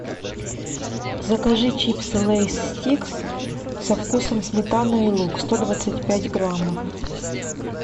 закажи чипсы лейс стикс со вкусом сметаны и лук сто двадцать пять граммов